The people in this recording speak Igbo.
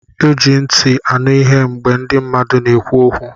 E ji ntị anụ ihe mgbe mmadụ na-ekwu okwu